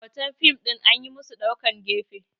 hoton fim ɗin an yi musu ɗaukar gefe